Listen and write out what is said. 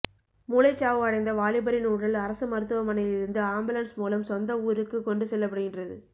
மூளைச்சாவு அடைந்த வாலிபரின் உடல் அரசு மருத்துவமனையிலிருந்து ஆம்புலன்ஸ் மூலம் சொந்த ஊறுக்கு கொண்டு செல்லப்படுகின்றது